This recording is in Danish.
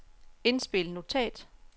indspil notat